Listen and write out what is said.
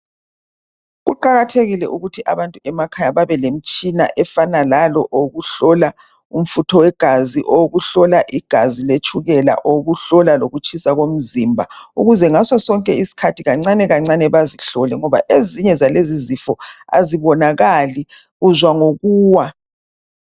kuqakathekile ukuthi abantu emakhaya babelemtshina ofana lalo wokuhlola umfutho wegazi ukuhlola igazi letshukela ukuhlola lokutshisa komzimba ukuze ngaso sonke isikhathi kancane kancane bazihlole ngoba ezinye zalezi izifo azibonakali uzwa ngokuwa